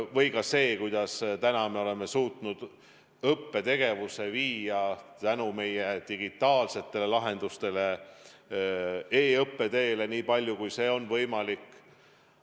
Või ka see, kuidas me oleme suutnud õppetegevuse viia tänu meie digitaalsetele lahendustele e-õppe teele nii palju, kui see on võimalik.